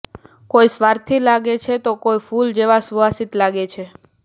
કોઈ સ્વાર્થી લાગે છે તો કોઈ ફૂલ જેવા સુવાસિત લાગે છે